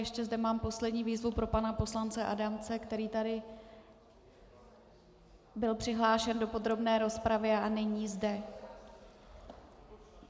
Ještě zde mám poslední výzvu pro pana poslance Adamce, který tady byl přihlášen do podrobné rozpravy a není zde.